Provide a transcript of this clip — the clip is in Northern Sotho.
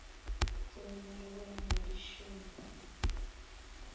tsongwa le go ya madišong